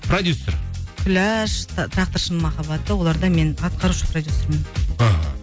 продюссер күләш тракторшының махаббаты оларда мен атқарушы продюссермын аха